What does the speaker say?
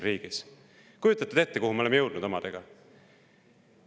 Kas te kujutate ette, kuhu me oleme omadega jõudnud?!